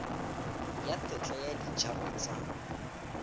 ya tetla ya dijalo tsa